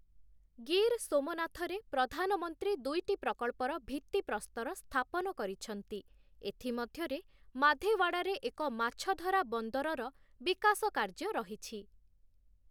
ଗିର୍ ସୋମନାଥରେ ପ୍ରଧାନମନ୍ତ୍ରୀ ଦୁଇଟି ପ୍ରକଳ୍ପର ଭିତ୍ତିପ୍ରସ୍ତର ସ୍ଥାପନ କରିଛନ୍ତି, ଏଥି ମଧ୍ୟରେ ମାଧେୱାଡ଼ାରେ ଏକ ମାଛଧରା ବନ୍ଦରର ବିକାଶ କାର୍ଯ୍ୟ ରହିଛି ।